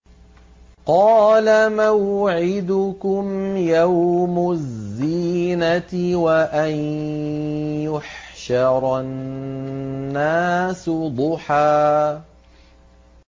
قَالَ مَوْعِدُكُمْ يَوْمُ الزِّينَةِ وَأَن يُحْشَرَ النَّاسُ ضُحًى